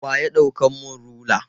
Wa ya ɗaukan mun rula?